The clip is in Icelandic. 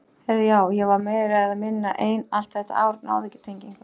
Heyrðu já, ég var meira eða minna ein allt þetta ár, náði ekki tengingu.